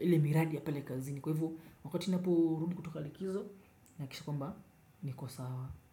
ile miradi ya pale kazini kwa hivo wakati ninapo rudi kutoka likizo nahakikisha kwamba niko sawa.